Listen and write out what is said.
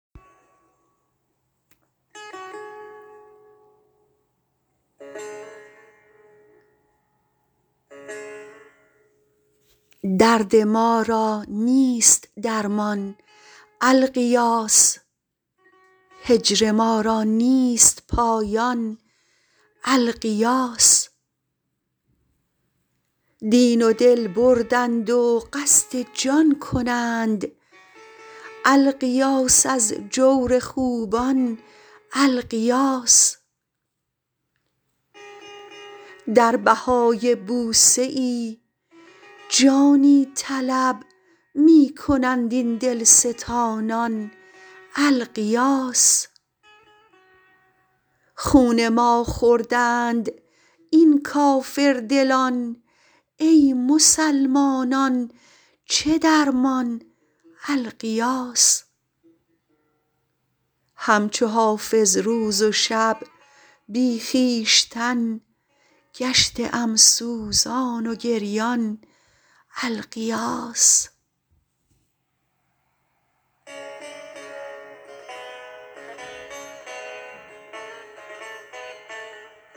درد ما را نیست درمان الغیاث هجر ما را نیست پایان الغیاث دین و دل بردند و قصد جان کنند الغیاث از جور خوبان الغیاث در بهای بوسه ای جانی طلب می کنند این دلستانان الغیاث خون ما خوردند این کافردلان ای مسلمانان چه درمان الغیاث هم چو حافظ روز و شب بی خویشتن گشته ام سوزان و گریان الغیاث